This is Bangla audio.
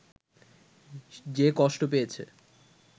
যে কষ্ট পেয়েছে